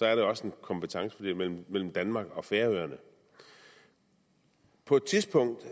er der også en kompetencefordeling mellem mellem danmark og færøerne på et tidspunkt